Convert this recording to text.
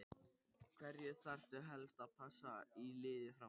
Hverja þarftu helst að passa í liði Fram?